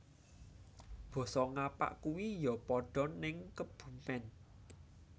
Boso ngapak kui yo podo ning Kebumen